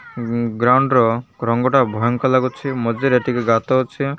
Ground ର ରଙ୍ଗ ଟା ଭୟଙ୍କର ଲାଗୁଛି ମଝି ରେ ଟିକେ ଗାତ ଅଛି।